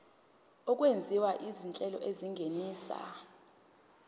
okwenziwa izinhlelo ezingenisa